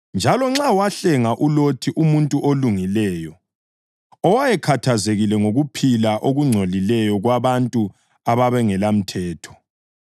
Njalo nxa wahlenga uLothi, umuntu olungileyo, owayekhathazekile ngokuphila okungcolileyo kwabantu ababengelamthetho